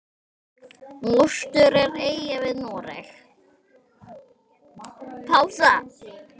Mostur er eyja við Noreg.